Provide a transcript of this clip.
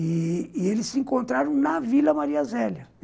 E... e eles se encontraram na Vila Maria Zélia.